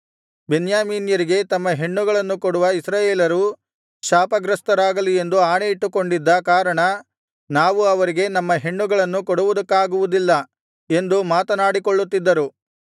ಬೆನ್ಯಾಮೀನ್ಯರಿಗೆ ತಮ್ಮ ಹೆಣ್ಣುಗಳನ್ನು ಕೊಡುವ ಇಸ್ರಾಯೇಲರು ಶಾಪಗ್ರಸ್ತರಾಗಲಿ ಎಂದು ಆಣೆಯಿಟ್ಟುಕೊಂಡಿದ್ದ ಕಾರಣ ನಾವು ಅವರಿಗೆ ನಮ್ಮ ಹೆಣ್ಣುಗಳನ್ನು ಕೊಡುವುದಕ್ಕಾಗುವುದಿಲ್ಲ ಎಂದು ಮಾತನಾಡಿಕೊಳ್ಳುತ್ತಿದ್ದರು